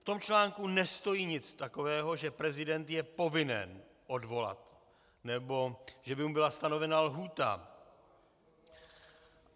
V tom článku nestojí nic takového, že prezident je povinen odvolat nebo že by mu byla stanovena lhůta.